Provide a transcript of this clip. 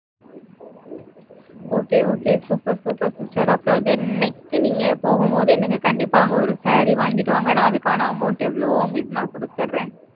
Okay okay super super sister அப்புறம், then next நீங்க போகும்போது, எனக்கு கண்டிப்பா அங்க ஒரு saree வாங்கிட்டு வாங்க. நான் அதுக்கான amount எவ்வளவோ, உங்களுக்கு நான் கொடுத்தர்றேன்.